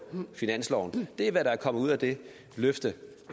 finansloven det er det der er kommet ud af det løfte